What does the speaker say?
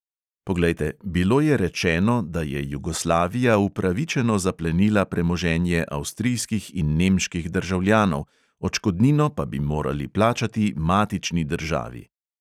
Poglejte, bilo je rečeno, da je jugoslavija upravičeno zaplenila premoženje avstrijskih in nemških državljanov, odškodnino pa bi morali plačati matični državi.